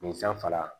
Nin fɛn fara